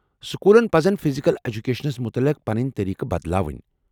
سکولن پزن فزکل ایٚجکیشنس متعلق پنٕنۍ طریٖقہٕ بدلاوٕنۍ ۔